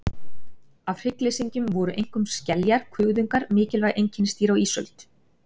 Af hryggleysingjum voru einkum skeljar og kuðungar mikilvæg einkennisdýr á ísöld.